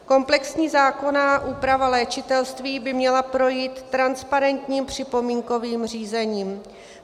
Komplexní zákonná úprava léčitelství by měla projít transparentním připomínkovým řízením.